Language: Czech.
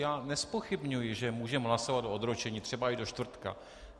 Já nezpochybňuji, že můžeme hlasovat o odročení, třeba i do čtvrtka.